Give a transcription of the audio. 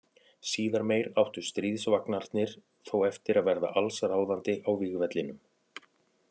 Síðar meir áttu stríðsvagnarnir þó eftir að verða alls ráðandi á vígvellinum.